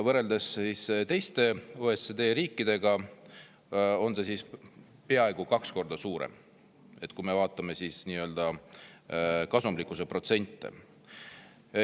Võrreldes teiste OECD riikidega on see peaaegu kaks korda suurem, kui me vaatame kasumlikkuse protsente.